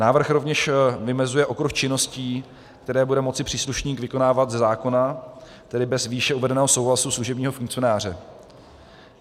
Návrh rovněž vymezuje okruh činností, které bude moci příslušník vykonávat ze zákona, tedy bez výše uvedeného souhlasu služebního funkcionáře.